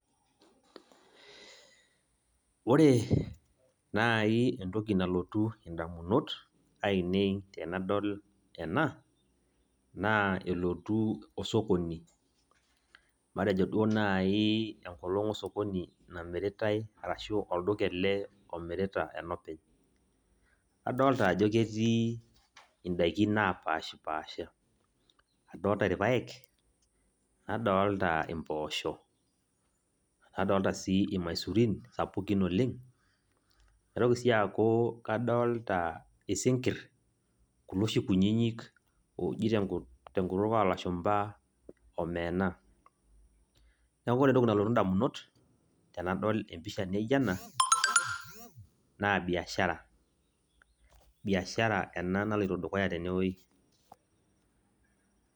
Ore nai entoki nalotu indamunot ainei tenadol ena naa elotu osokoni , matejo duo nai enkolong osokoni namiritae ashu olduka ele lomirita enopeny .Adolta ajo ketii indaikin napashpasha , adolta irpaek , nadolta impooshok, nadolta sii irmaisurin sapukin oleng ,naitoki sii aaku kadolta isinkir kulo oshi kunyinyik kulo oshi oji tenkutuk olashumba omena . Niaku ore entoki nalotu indamunot tenadol empisha naijo ena naa biashara, biashara ena naloito dukuya tene wuei.